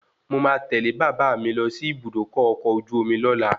Mo máa tẹ́lẹ̀ bàbà mi lọ sí Ibùdókọ̀ ọkọ̀ ojú omi lola